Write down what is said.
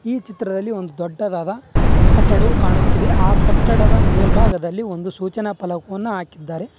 ಈ ಚಿತ್ರದಲ್ಲಿ ಒಂದು ದೊಡ್ಡದಾದ ಕಟ್ಟಡವು ಕಾಣುತ್ತಿದೆ ಆ ಕಟ್ಟಡದ ಮೇಲ್ಭಾಗದಲ್ಲಿ ಒಂದು ಸೂಚನಾ ಫಲಕವನ್ನ ಹಾಕಿದ್ದಾರೆ.